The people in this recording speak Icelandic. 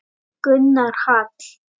Gunnar Hall.